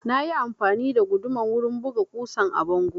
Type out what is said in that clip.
Na yi amfani da guduma wurin buga ƙusan a bango